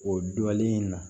O dɔlen in na